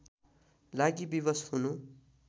लागि विवश हुनु